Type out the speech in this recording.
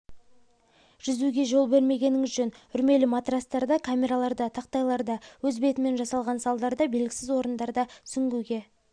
жүзуге жол бермегеніңіз жөн үрмелі матрастарда камераларда тақтайларда өз бетімен жасалған салдарда белгісіз орындарда сүңгуге